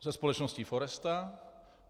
Se společností Foresta.